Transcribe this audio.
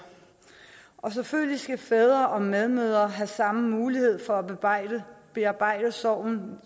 selvfølgelig skal fædre og medmødre have samme mulighed for at bearbejde bearbejde sorgen